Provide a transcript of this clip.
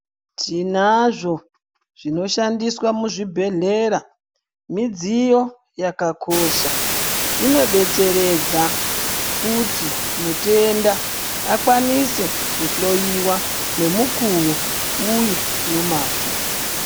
Tinazvo zvino shandiswa mu zvibhedhlera midziyo yakakosha ino detseredza kuti mutenda akwanise ku hloyiwa ne mukuwo uye no mazvo.